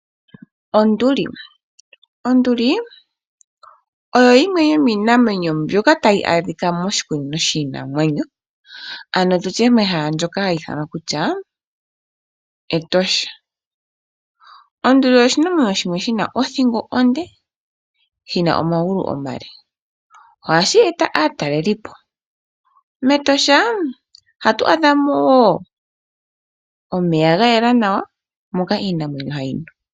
Onduli oyo yimwe yomiinamwenyo mbyoka adhika moshikunino shono ha kutiwa omètosha. Ano mehala ndyoka halibithanwa Etosha, onduli oshinanwenyo shimwe shina othingo onde oshowo omagulu omale. Ohashi eta aatalelipo, metosha ohamu adhika omeya ga yela nawa ngono haga nuwa kiinamwenyo.